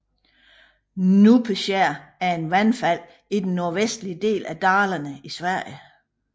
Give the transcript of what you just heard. Njupeskär er et vandfald i den nordvestlige del af Dalarna i Sverige